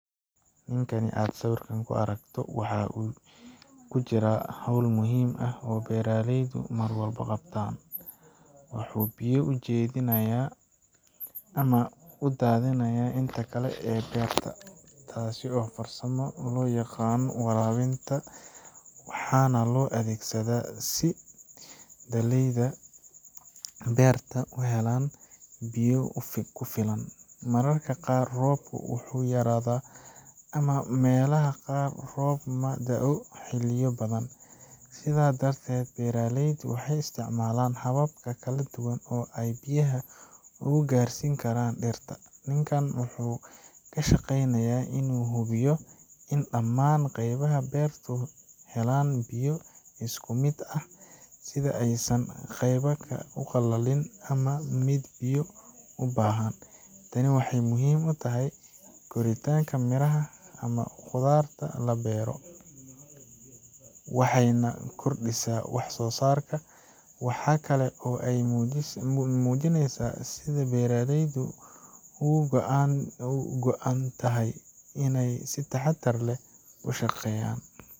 Ninkaan aad sawirka ku aragto waxa uu ku jiraa hawl muhiim ah oo beeraleydu mar walba qabtaan—wuxuu biyo u jeedinayaa ama u daadinayaa inta kale ee beerta. Taasi waa farsamo loo yaqaan waraabinta, waxaana loo adeegsadaa si dalagyada beerta u helaan biyo ku filan. Mararka qaar roobku wuu yaraadaa ama meelaha qaar roob ma da'o xilliyo badan, sidaa darteed beeraleyda waxay isticmaalaan habab kala duwan oo ay biyaha ugu gaarsiin karaan dhirta. Ninkaan wuxuu ka shaqaynayaa in uu hubiyo in dhamaan qaybaha beertu helaan biyo isku mid ah, si aysan qaybna u qalalin ama midna biyo u badan. Tani waxay muhiim u tahay koritaanka miraha ama khudaarta la beero, waxayna kordhisaa wax soo saarka. Waxa kale oo ay muujinaysaa sida beeraleydu uga go’an tahay inay si taxaddar leh u shaqeeyaan.